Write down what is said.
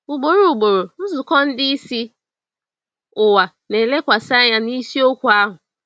Ugboro ugboro, nzukọ ndị isi ụwa na-elekwasị anya na isiokwu ahụ.